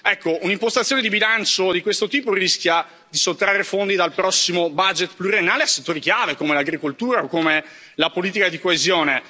Ecco, un'impostazione di bilancio di questo tipo rischia di sottrarre fondi dal prossimo budget pluriennale a settori chiave, come l'agricoltura o la politica di coesione.